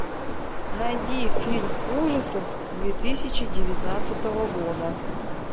найди фильм ужасов две тысячи девятнадцатого года